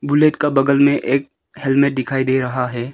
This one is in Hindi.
बुलेट का बगल में एक हेलमेट दिखाई दे रहा है।